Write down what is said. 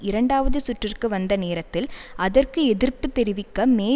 இரண்டாவது சுற்றுக்கு வந்த நேரத்தில் அதற்கு எதிர்ப்பு தெரிவிக்க மே